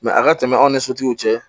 a ka tɛmɛ aw ni sotigiw cɛ